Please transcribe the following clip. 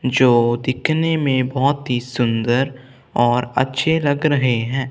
जो दिखने में बहोत ही सुंदर और अच्छे लग रहें हैं।